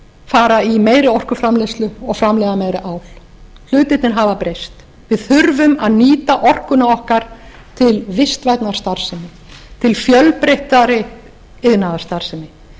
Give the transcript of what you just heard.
fara í meiri orkuframleiðslu og framleiða meira ál hlutirnir hafa breyst við þurfum að nýta orkuna okkar til vistvænnar starfsemi til fjölbreyttari iðnaðarstarfsemi